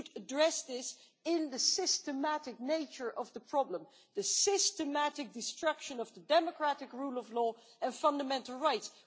We should address this in the systematic nature of the problem the systematic destruction of the democratic rule of law and fundamental rights.